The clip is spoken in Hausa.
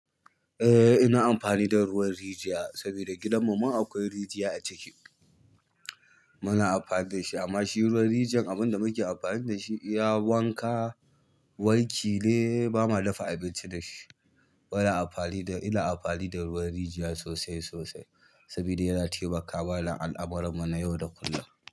Eh, ina amfani da ruwan rijiya sabida gidan mu ma akwai rijiya a ciki. Muna amfani da shi amma shi ruwan rijiyan abin da muke amfani da shi, iya wanka, wanki ne. Ba ma dafa abinci da shi. Muna amfani da, ina amfani da ruwan rijiya sosai-sosai saboda yana taimaka wa al'amuran mu na yau da kullum.